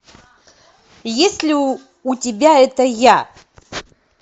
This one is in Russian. есть ли у тебя это я